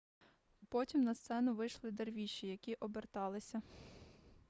потім на сцену вийшли дервіші які оберталися